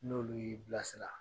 N'olu y'i bila sira